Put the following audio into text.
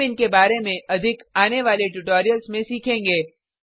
हम इनके बारे में अधिक आने वाले ट्यूटोरियल्स में सीखेंगे